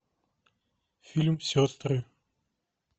фильм сестры